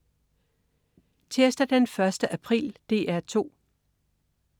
Tirsdag den 1. april - DR 2: